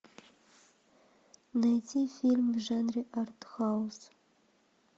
найти фильм в жанре артхаус